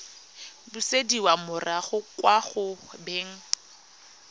busediwa morago kwa go beng